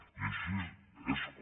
i així és com